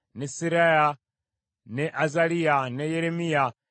ne Seraya, ne Azaliya, ne Yeremiya,